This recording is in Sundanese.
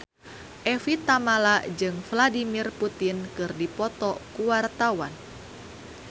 Evie Tamala jeung Vladimir Putin keur dipoto ku wartawan